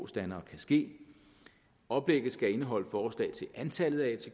standere kan ske oplægget skal indeholde forslag til antallet af